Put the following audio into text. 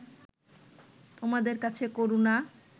তোমাদের কাছে করুণা